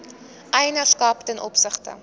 eienaarskap ten opsigte